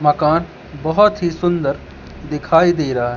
मकान बहुत ही सुंदर दिखाई दे रहा है।